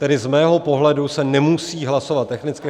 Tedy z mého pohledu se nemusí hlasovat technicky.